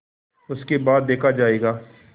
उसके बाद देखा जायगा